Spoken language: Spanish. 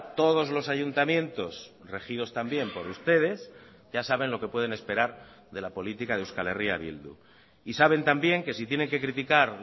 todos los ayuntamientos regidos también por ustedes ya saben lo que pueden esperar de la política de euskal herria bildu y saben también que si tienen que criticar